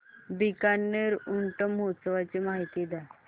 बीकानेर ऊंट महोत्सवाची माहिती द्या